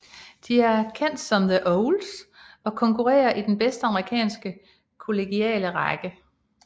De er kendt som The Owls og konkurrerer i den bedste amerikanske kollegiale række